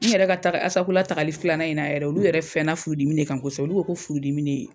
N yɛrɛ ka taga ASACOLA tagali filanan in na yɛrɛ olu yɛrɛ fɛna furudimi de kan kosɛbɛ olu ko ko furudimi ne